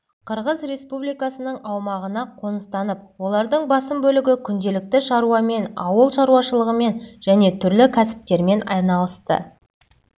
қырғыз республикасының аумағына қоныстанып олардың басым бөлігі күнделікті шаруамен ауыл шаруашылығымен және түрлі кәсіптермен айналысты